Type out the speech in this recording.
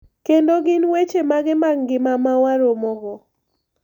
Kendo gin weche mage mag ngima ma waromogo.